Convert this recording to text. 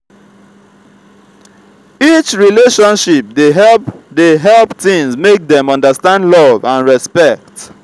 each relationship dey help dey help teen make dem understand love and respect.